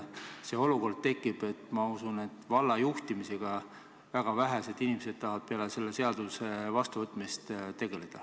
See olukord tekib, ma usun, et valla juhtimisega tahavad väga vähesed inimesed peale selle seaduse vastuvõtmist tegeleda.